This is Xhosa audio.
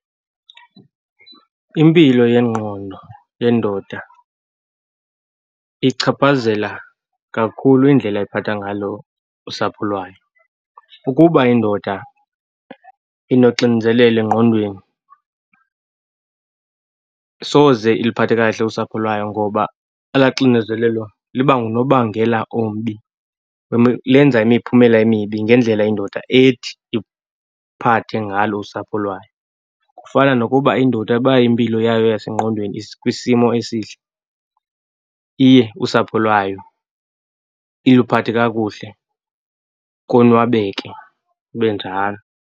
Impilo yengqondo yendoda ichaphazela kakhulu indlela ephatha ngalo usapho lwayo. Ukuba indoda inoxinzelelo engqondweni soze iliphathe kahle usapho lwayo ngoba elaa xinezelelo liba ngunobangela ombi, lenza imiphumela emibi ngendlela indoda ethi iphathe ngalo usapho lwayo. Kufana nokuba indoda uba impilo yayo yasengqondweni ikwisimo esihle, iye usapho lwayo iluphathe kakuhle, konwabeke kube njalo.